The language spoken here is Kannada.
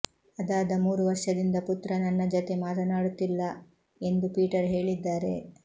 ಅದಾದ ಮೂರು ವರ್ಷದಿಂದ ಪುತ್ರ ನನ್ನ ಜತೆ ಮಾತನಾಡುತ್ತಿಲ್ಲ ಎಂದು ಪೀಟರ್ ಹೇಳಿದ್ದಾರೆ